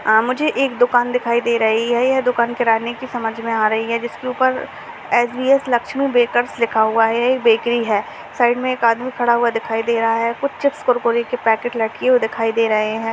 आ मुझे एक दुकान दिखाई दे रही है यह दुकान किराने की समझ मे आ रही है जिसके ऊपर लक्ष्मी बेकर्स लिखा हुआ है बेकरी है। साइड में एक आदमी खड़ा हुआ दिखाई दे रहा है कुछ चिप्स कुरकुरे के पैकेट लटके हुए दिखाई दे रहें हैं।